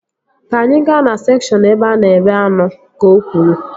Ka anyị gaa na sekshọn ebe a na-ere anụ! Ka o kwuru